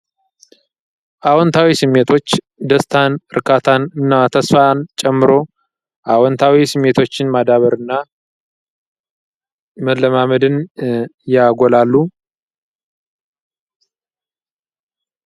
አዎንታዊ ስሜቶች ደስታን፣ እርካታን እና ተስፋን ጨምሮ አዎንታዊ ስሜቶች እናዳብርና መለማመድን ያጎላሉ።